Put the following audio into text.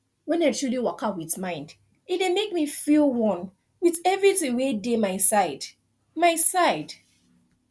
wen i truly dey waka with mind e dey make me feel one with everything wey dey my side my side